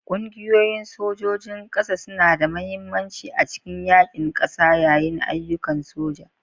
Ƙungiyoyin sojojin ƙasa suna da mahimmanci a cikin yaƙin ƙasa yayin ayyukan soja.